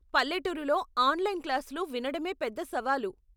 పల్లెటూరిలో ఆన్లైన్ క్లాసులు వినడమే పెద్ద సవాలు.